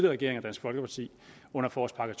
regering og dansk folkeparti under forårspakke